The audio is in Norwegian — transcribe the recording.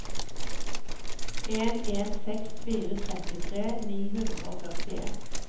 en en seks fire trettitre ni hundre og førtien